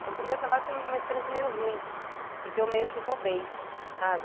Então o primeiro trabalho foi uma experiência meio ruim, porque eu meio que roubei, sabe?